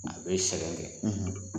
A bɛ sɛgɛn kɛ., .